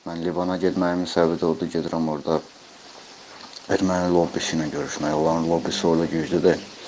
Mən Livan'a getməyimin səbəbi də odur ki, gedirəm orda erməni lobbisi ilə görüşmək, onların lobbisi orada güclü deyil.